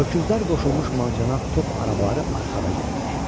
Öküzlər qoşulmuş mancanaq top arabaları arxada gəlirdi.